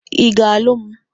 Ị ga-alụ m?